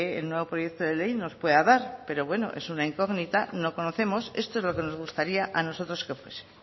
el nuevo proyecto de ley nos pueda dar pero bueno es una incógnita no conocemos esto es lo que nos gustaría a nosotros que fuese